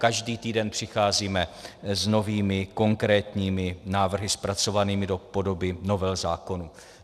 Každý týden přicházíme s novými konkrétními návrhy, zpracovanými do podoby novel zákonů.